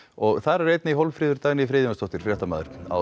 og þar er einnig Hólmfríður Dagný Friðjónsdóttir fréttamaður á